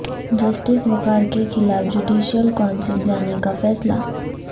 justice Waqar کے خلاف judicial council جانے کا فیصلہ